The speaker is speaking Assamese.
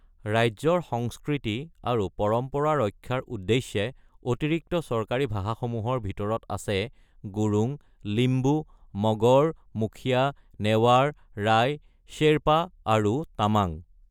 ৰাজ্যৰ সংস্কৃতি আৰু পৰম্পৰা ৰক্ষাৰ উদ্দেশ্যে অতিৰিক্ত চৰকাৰী ভাষাসমূহৰ ভিতৰত আছে গুৰুং, লিম্বু, মগৰ, মুখীয়া, নেৱাৰ, ৰায়, শ্বেৰপা আৰু তামাং।